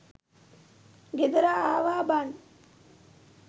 ගෙදර ආවා බං.